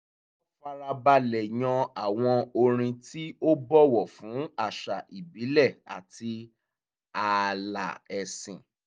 wọ́n farabalẹ̀ yan àwọn orin tí ó bọ̀wọ̀ fún àṣà ìbílẹ̀ àti ààlà ẹ̀sìn